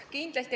Kindlasti.